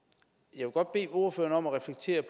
jeg vil godt bede ordføreren om at reflektere